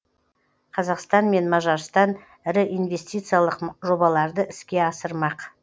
қазақстан мен мажарстан ірі инвестициялық жобаларды іске асырмақ